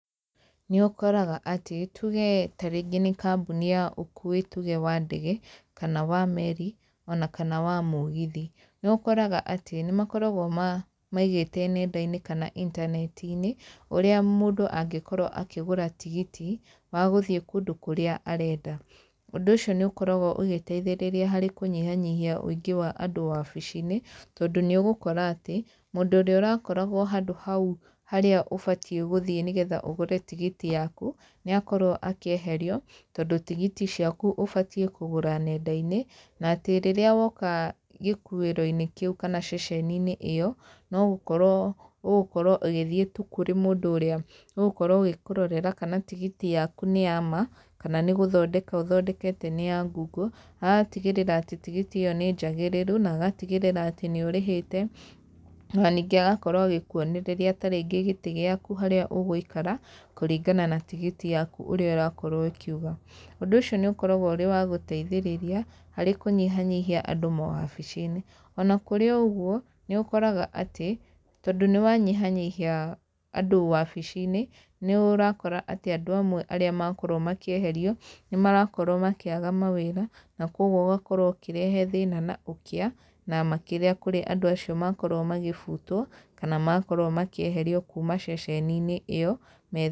Nĩũkoraga atĩ tuge ta rĩngĩ nĩ kambũni ya ũkui tuge wa ndege, kana wa meri, ona kana wa mũgithi, nĩũkoraga atĩ nĩ makoragwo maigĩte nenda-inĩ kana intaneti-inĩ, ũrĩa mũndũ angĩkorwo akĩgũra tigiti wa gũthiĩ kũndũ kũrĩa arenda. Ũndũ ũcio nĩ ũkoragwo ũgĩteithĩrĩria harĩ kũnyihanyihia ũingĩ wa andũ wabici-inĩ, tondũ nĩ ũgũkora atĩ mũndũ ũrĩa ũrakoragwo handũ hau harĩa ũbatie gũthiĩ nĩgetha ũgũre tigiti yaku, nĩ akorwo akĩeherio, tondũ tigiti ciaku ũbatie kũgũra nenda-inĩ na atĩ rĩrĩa woka gĩkuĩro-inĩ kĩu kana ceceni-inĩ ĩyo, no gũkorwo ũgũkorwo ũgĩthiĩ tu kũrĩ mũndũ ũrĩa ũgũkorwo ũgĩkũrorera kana tigiti yaku nĩ ya ma, kana nĩ gũthondeka ũthondekete nĩ ya ngungo, agatigĩrĩra atĩ tigiti ĩyo nĩ njagĩrĩru, na agatigĩrĩra atĩ nĩ ũrĩhĩte, ona ningĩ agakorwo agĩkuonereria ta rĩngĩ gĩtĩ gĩaku harĩa ũgũikara, kũringana na tigiti yaku ũrĩa ĩrakorwo ĩkiuga. Ũndũ ũcio nĩ ũkoragwo ũrĩ wa gũteithĩrĩria harĩ kũnyihanyihia andũ mawabici-inĩ, ona kũrĩ o ũguo, nĩ ũkoraga atĩ tondũ nĩ wanyihanyihia andũ wabici-inĩ, nĩ ũrakora atĩ andũ amwe arĩa makorwo makĩeherio, nĩ marakorwo makĩaga mawĩra, na koguo ũgakorwo ũkĩrehe thĩna na ũkĩa, na makĩria kũrĩ andũ acio makorwo makĩbutwo, kana makorwo makĩeherio kuuma ceceni-inĩ ĩyo.